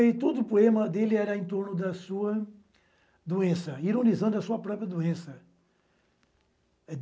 E todo o poema dele era em torno da sua doença, ironizando a sua própria doença.